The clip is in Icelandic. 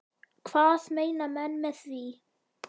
Hvað meina menn með því?